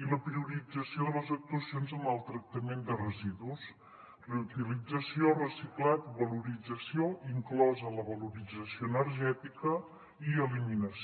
i la priorització de les actuacions en el tractament de residus reutilització reciclat valorització inclosa la valorització energètica i eliminació